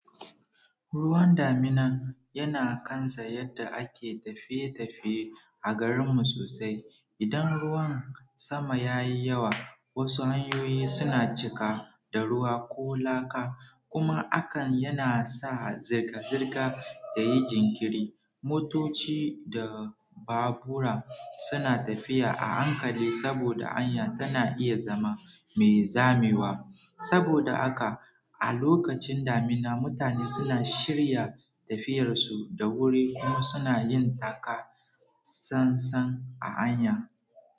Ruwan daminan yana kan sa yadda ake tafiye tafiye a garinmu sosai. Idan ruwan sama ya yi yawa, wasu hanyoyi suna cika da ruwa ko laka, kuma hakan yana sa zirga-zirga ta yi jinkiri. Motoci da babura suna tafiya a hankali saboda hanya tana iya zama mai zamewa. Saboda haka, a lokacin damina, mutane suna shirya tafiyarsu da wuri kuma suna yin taka tsan-tsan a hanya.